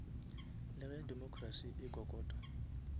le ge democracy e kokota